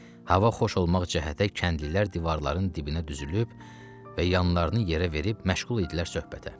Hava xoş olmaq cəhətə kəndlilər divarların dibinə düzülüb və yanlarını yerə verib məşğul idilər söhbətə.